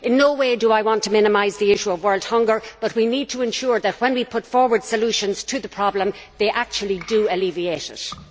In no way do I want to minimise the issue of world hunger, but we need to ensure that when we put forward solutions to the problem, they actually do alleviate it.